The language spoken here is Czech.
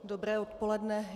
Dobré odpoledne.